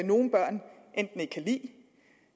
nogle børn enten ikke kan lide